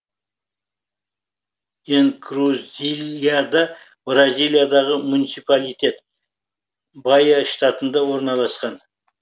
энкрузильяда бразилиядағы муниципалитет баия штатында орналасқан